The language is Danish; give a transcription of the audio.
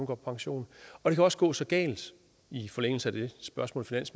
på pension det kan også gå så galt i forlængelse af det spørgsmål